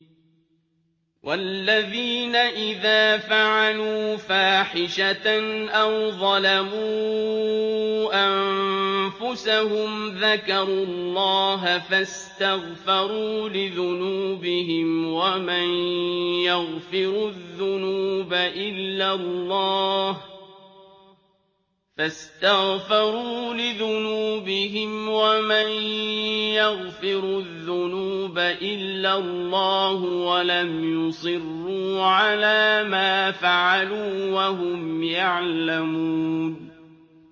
وَالَّذِينَ إِذَا فَعَلُوا فَاحِشَةً أَوْ ظَلَمُوا أَنفُسَهُمْ ذَكَرُوا اللَّهَ فَاسْتَغْفَرُوا لِذُنُوبِهِمْ وَمَن يَغْفِرُ الذُّنُوبَ إِلَّا اللَّهُ وَلَمْ يُصِرُّوا عَلَىٰ مَا فَعَلُوا وَهُمْ يَعْلَمُونَ